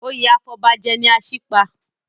Oyè afọbajẹ ni Asípa.